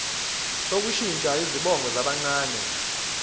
sokushintsha izibongo zabancane